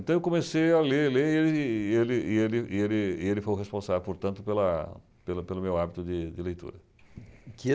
Então, eu comecei a ler, ler, e ele e ele e ele e ele e ele foi o responsável, portanto, pela pelo meu hábito de de leitura.